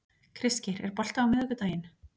Kristgeir, er bolti á miðvikudaginn?